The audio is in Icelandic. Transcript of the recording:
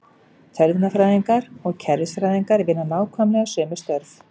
Tölvunarfræðingar og kerfisfræðingar vinna nákvæmlega sömu störf.